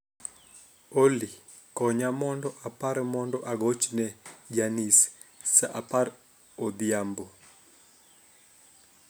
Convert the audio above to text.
Olly, konya mondo apar mondo agochne Janice saa apar odhiambo